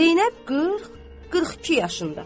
Zeynəb 40, 42 yaşında.